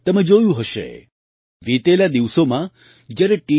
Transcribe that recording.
તમે જોયું હશે વિતેલા દિવસોમાં જ્યારે ટી